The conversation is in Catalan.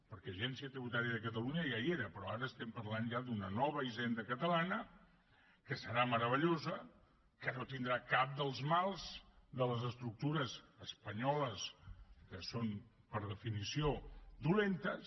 perquè l’agència tributària de catalunya ja hi era però ara estem parlant ja d’una nova hisenda catalana que serà meravellosa que no tindrà cap dels mals de les estructures espanyoles que són per definició dolentes